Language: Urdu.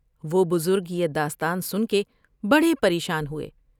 و ہ بزرگ یہ داستان سن کے بڑے پریشان ہوۓ ۔